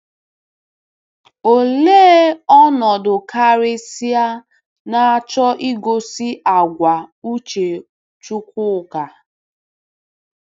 Olee ọnọdụ karịsịa na-achọ igosi àgwà uche Chukwuka?